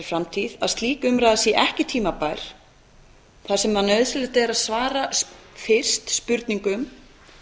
framtíð að slík umræða sé ekki tímabær þar sem nauðsynlegt er að svara fyrst spurningum